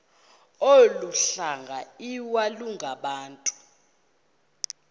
olu hlanga iwalungabantu